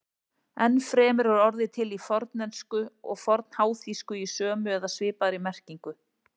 Enn fremur er orðið til í fornensku og fornháþýsku í sömu eða svipaðri merkingu.